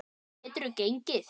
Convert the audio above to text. Geturðu gengið?